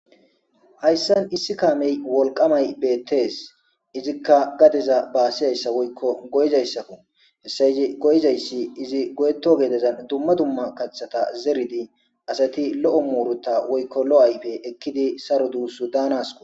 Hayssan issi kaamey wolqamay beettes izikka gadeza baasizayssa woykko goyizayssakku hessa yizi goyizayssi izi goyeto geedezan dumma dumma kaththata zeridi asati lo7o muurota woykko lo7ayfe ekkidi saro duussu daanasko